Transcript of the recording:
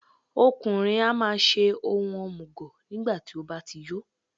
Ọkùnrin á máa ṣe ohun òmùgọ̀ nígbàtí ó bá ti yó.